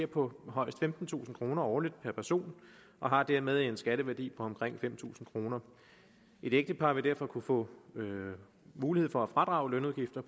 på højst femtentusind kroner årligt per person og har dermed en skatteværdi på omkring fem tusind kroner et ægtepar vil derfor kunne få mulighed for at fradrage lønudgifter